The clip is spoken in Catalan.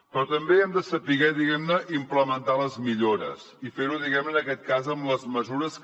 però també hem de saber implementar les millores i fer ho en aquest cas amb les mesures que